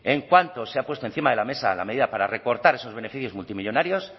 en cuanto se ha puesto encima de la mesa la medida para recortar esos beneficios multimillónarios